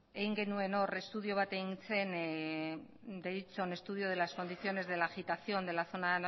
dagokionez estudio bat egin genuen estudio de las condiciones de la agitación de la zona